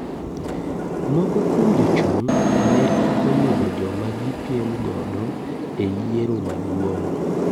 Moko kuom jochung' ne okoyudo joma gi piem godo e yiero maduong.